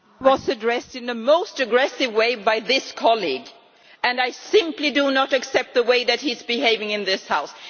Madam President, I was addressed in the most aggressive way by this colleague and I simply do not accept the way that he is behaving in this House.